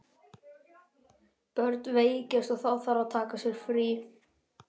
Börnin veikjast og þá þarf að taka sér frí.